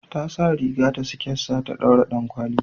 Ta sa riga da siket sa ta daura dankwali